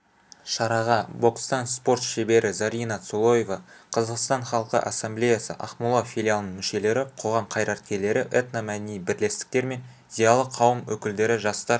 шараға бокстан спорт шебері зарина цолоева қазақстан халқы ассамблеясы ақмола филиалының мүшелері қоғам қайраткерлері этномәдени бірлестіктер мен зиялы қауым өкілдері жастар